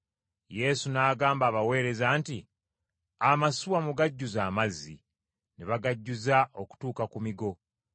Yesu n’agamba abaweereza nti, “Amasuwa mugajjuze amazzi.” Ne bagajjuza okutuuka ku migo.